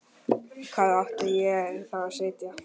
Hvar átti ég þá að sitja?